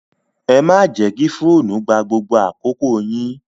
Ẹ má jẹ́ kí fóònù gba gbogbo àkókò yín!